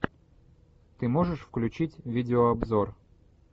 ты можешь включить видео обзор